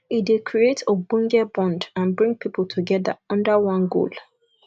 e dey create ogbonge bond and bring pipo together under one goal